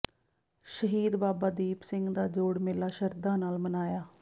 ਸ਼ਹੀਦ ਬਾਬਾ ਦੀਪ ਸਿੰਘ ਦਾ ਜੋੜ ਮੇਲਾ ਸ਼ਰਧਾ ਨਾਲ ਮਨਾਇਆ